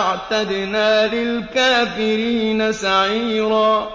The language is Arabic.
أَعْتَدْنَا لِلْكَافِرِينَ سَعِيرًا